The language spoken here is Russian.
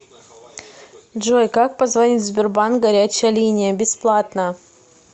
джой как позвонить в сбербанк горячая линия бесплатно